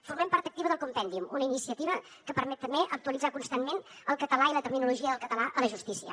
formem part activa del compendium una iniciativa que permet també actualitzar constantment el català i la terminologia del català a la justícia